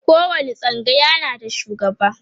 kowani tsangaya na da shugaba